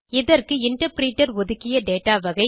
இதற்கு இன்டர்பிரிட்டர் ஒதுக்கிய dataவகை